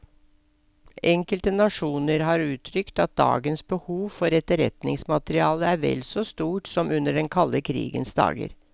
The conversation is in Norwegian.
Enkelte nasjoner har uttrykt at dagens behov for etterretningsmateriale er vel så stort som under den kalde krigens dager.